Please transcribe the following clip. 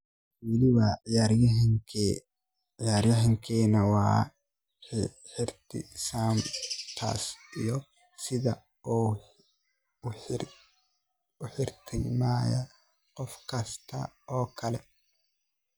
Weli waa ciyaaryahan keena, waan ixtiraamayaa taas iyo sidaan u ixtiraamayaa qof kasta oo kale.